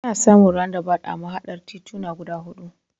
Ana samun randabawut a mahaɗar tituna guda huɗu.